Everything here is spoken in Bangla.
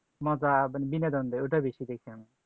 মজা বিনোদনের ওটাই বেশি দেখতাম